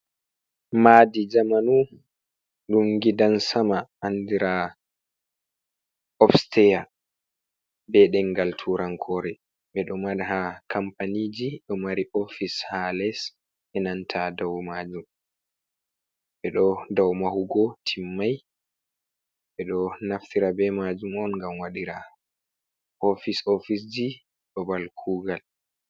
Madi jamanu ɗum gidan sama andira lobster, be demgal turan kore, ɓeɗo mari ha kampaniji ɗo mari ofise ha les, enanta dau majum, ɓe ɗo dau mahugo timmai, ɓe ɗo naftira be majum on ngam waɗira ofise ofiseji babal kugal.